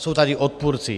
Jsou tady odpůrci.